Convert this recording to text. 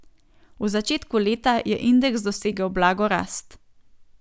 V začetku leta je indeks dosegel blago rast.